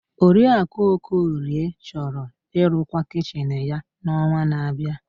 Oriakụ Okorie chọrọ ịrụkwa kichin ya n'ọnwa na-abịa.